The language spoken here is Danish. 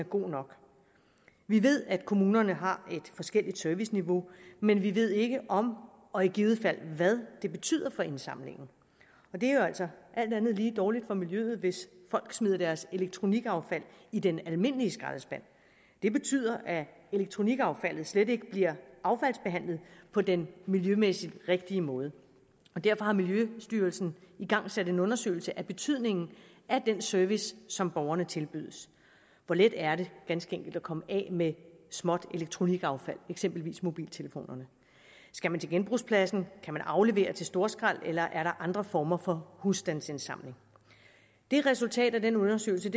god nok vi ved at kommunerne har forskellige serviceniveauer men vi ved ikke om og i givet fald hvad det betyder for indsamlingen det er jo altså alt andet lige dårligt for miljøet hvis folk smider deres elektronikaffald i den almindelige skraldespand det betyder at elektronikaffaldet slet ikke bliver affaldsbehandlet på den miljømæssigt rigtige måde derfor har miljøstyrelsen igangsat en undersøgelse af betydningen af den service som borgerne tilbydes hvor let er det ganske enkelt at komme af med småt elektronikaffald eksempelvis mobiltelefoner skal man til genbrugspladsen kan man aflevere det til storskrald eller er der andre former for husstandsindsamlinger det resultat af den undersøgelse